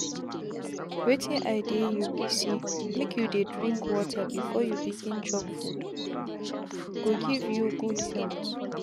wetin i dey you be say make you dey drink water before you begin chop foode go give you good health.